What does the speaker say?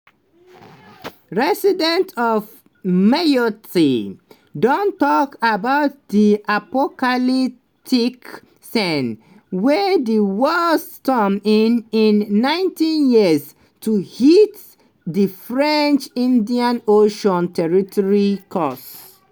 residents of mayotte don tok about di "apocalyptic scenes" wey di worst storm in in 90 years to hit di french indian ocean territory cause.